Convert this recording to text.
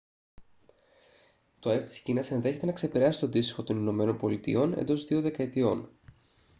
το αεπ της κίνας ενδέχεται να ξεπεράσει το αντίστοιχο των ηνωμένων πολιτειών εντός δύο δεκαετιών